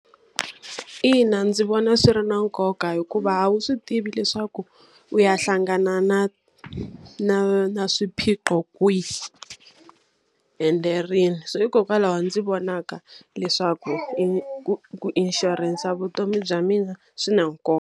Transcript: Ina ndzi vona swi ri na nkoka hikuva a wu swi tivi leswaku, u ya hlangana na na na swiphiqo kwihi ende rini. So hikokwalaho ndzi vonaka leswaku ku ku inshurensa ya vutomi bya mina swi na nkoka.